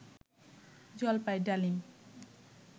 জলপাই ডালিম